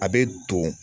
A bɛ don